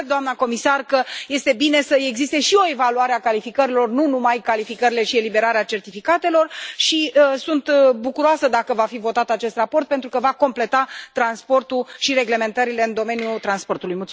Și cred, doamna comisar, că este bine să existe și o evaluare a calificărilor, nu numai calificările și eliberarea certificatelor și sunt bucuroasă dacă va fi votat acest raport pentru că va completa transportul și reglementările în domeniul transportului.